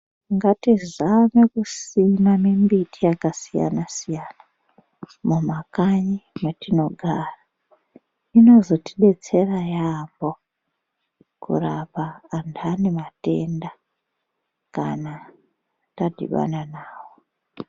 Ngatizame kusima mimbiti yakasiyana-siyana mumakanyi matinogara inozotidetsera yambo kurapa antu ane matenda kana tadhibana nawo.